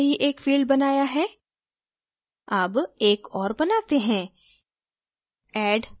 हमने पहले ही एक field बनाया है अब एक और बनाते है